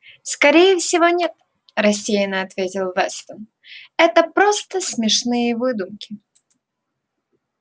скорее всего нет рассеянно ответил вестон это просто смешные выдумки